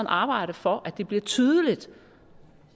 arbejde for at det bliver tydeligt